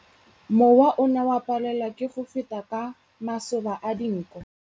Mowa o ne o palelwa ke go feta ka masoba a dinko.